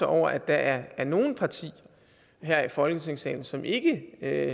over at der er nogle partier her i folketingssalen som ikke